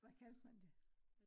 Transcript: hvad kalde man det?